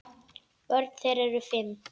Börn þeirra eru fimm.